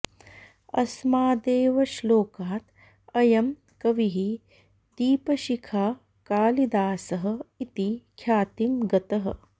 अस्मादेव श्लोकात् अयं कविः दीपशिखाकालिदासः इति ख्यातिं गतः